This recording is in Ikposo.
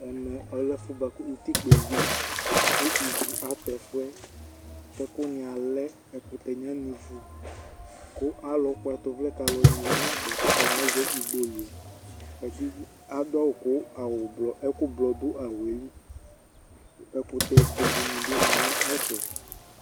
Ɛmɛ ɔlɛmʋ ɛfʋɛ bʋakʋ utikpǝ eɣliKʋ ivu abaɛfʋɛ, kɛkʋ wanɩ alɛ, ɛkʋtɛ nɩ anivu; kʋ alʋ kpɔ ɛtʋ vlɛ kalʋ nɩ ya nɛfɛ katanɩ azɛ igboliAdʋ kʋ ɛkʋ blɔ dʋ awʋɛ liƐkʋtɛ be dɩ bɩ ma nʋ ɛfɛ